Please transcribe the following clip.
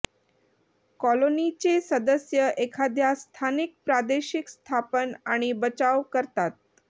कॉलनीचे सदस्य एखाद्या स्थानिक प्रादेशिक स्थापन आणि बचाव करतात